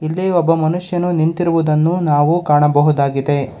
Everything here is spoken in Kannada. ಇಲ್ಲಿ ಒಬ್ಬ ಮನುಷ್ಯನು ನಿಂತಿರುವುದನ್ನು ನಾವು ಕಾಣಬಹುದಾಗಿದೆ.